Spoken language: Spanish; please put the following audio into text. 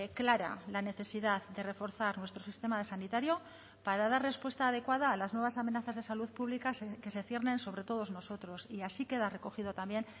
clara la necesidad de reforzar nuestro sistema sanitario para dar respuesta adecuada a las nuevas amenazas de salud pública que se ciernen sobre todos nosotros y así queda recogido también